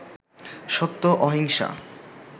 সত্য, অহিংসা